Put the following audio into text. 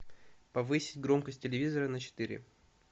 повысь громкость телевизора на четыре